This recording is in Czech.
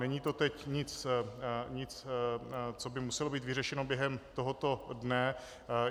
Není to teď nic, co by muselo být vyřešeno během tohoto dne.